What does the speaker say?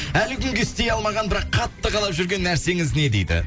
әлі күнге істей алмаған бірақ қатты қалап жүрген нәрсеңіз не дейді